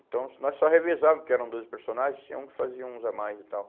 Então, nós só revezávamos, porque eram doze personagens, tinha um que fazia uns a mais e tal.